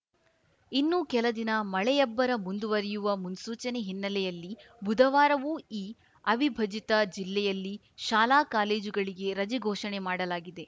ಇನ್ನೂ ಕೆಲ ದಿನ ಮಳೆಯಬ್ಬರ ಮುಂದುವರಿಯುವ ಮುನ್ಸೂಚನೆ ಹಿನ್ನೆಲೆಯಲ್ಲಿ ಬುಧವಾರವೂ ಈ ಅವಿಭಜಿತ ಜಿಲ್ಲೆಯಲ್ಲಿ ಶಾಲಾ ಕಾಲೇಜುಗಳಿಗೆ ರಜೆ ಘೋಷಣೆ ಮಾಡಲಾಗಿದೆ